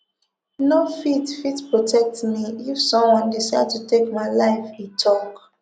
no fit fit protect me if someone decide to take my life e tok